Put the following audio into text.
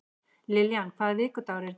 Lillian, hvaða vikudagur er í dag?